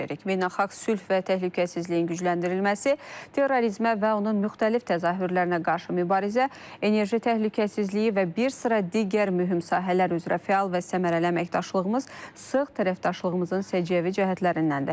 Beynəlxalq sülh və təhlükəsizliyin gücləndirilməsi, terrorizmə və onun müxtəlif təzahürlərinə qarşı mübarizə, enerji təhlükəsizliyi və bir sıra digər mühüm sahələr üzrə fəal və səmərəli əməkdaşlığımız sıx tərəfdaşlığımızın səciyyəvi cəhətlərindəndir.